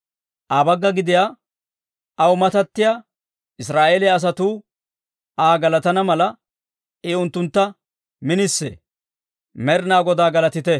Aa bagga gidiyaa, aw matattiyaa Israa'eeliyaa asatuu, Aa galatana mala, I unttuntta minisee. Med'inaa Godaa galatite!